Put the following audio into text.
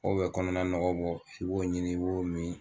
K'o be kɔnɔna nɔgɔ bɔ i b'o ɲini i b'o mi